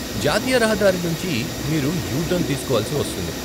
జాతీయ రహదారి నుంచి మీరు యూ టర్న్ తీసుకోవలసి వస్తుంది.